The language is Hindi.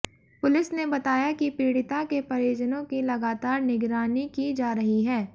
पुलिस ने बताया कि पीड़िता के परिजनों की लगातार निगरानी की जा रही है